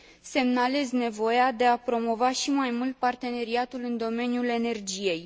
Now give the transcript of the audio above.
Semnalez nevoia de a promova și mai mult parteneriatul în domeniul energiei.